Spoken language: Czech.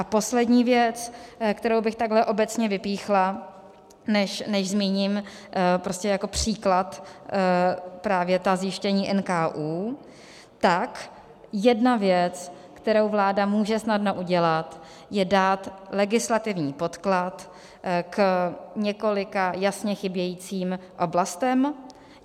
A poslední věc, kterou bych takhle obecně vypíchla, než zmíním jako příklad právě ta zjištění NKÚ, tak jedna věc, kterou vláda může snadno udělat, je dát legislativní podklad k několika jasně chybějícím oblastem.